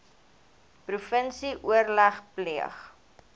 provinsie oorleg pleeg